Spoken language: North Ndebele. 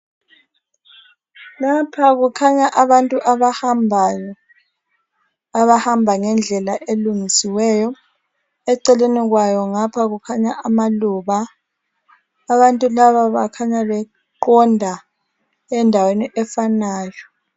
Lapha kukhanya abantu abahambayo , abahamba ngendlela elungisiweyo , eceleni kwayo ngapha kukhanya amaluba abantu laba bakhanya beqonda endaweni efanayo.